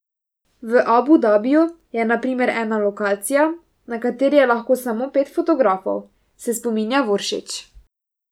V Abu Dabiju je na primer ena lokacija, na kateri je lahko samo pet fotografov, se spominja Voršič.